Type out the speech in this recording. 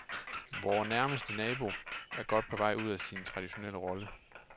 Vor nærmeste nabo er godt på vej ud af sin traditionelle rolle.